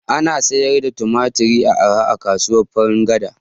Ana sayar da Tumatir da arha a kasuwar Farin gada